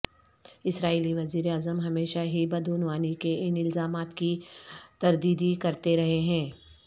اسرائیلی وزیراعظم ہمیشہ ہی بدعنوانی کے ان الزامات کی تردیدی کرتے رہے ہیں